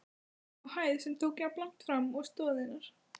á hæð, sem tók jafnlangt fram og stoðirnar.